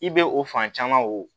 I bɛ o fan caman o